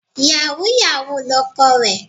Yàwúú-yawuù lọkọ rẹ̀.